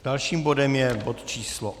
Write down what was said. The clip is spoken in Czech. Dalším bodem je bod číslo